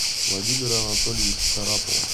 владимира анатольевича шарапова